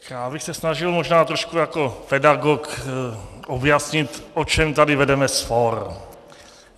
Já bych se snažil možná trošku jako pedagog objasnit, o čem tady vedeme spor.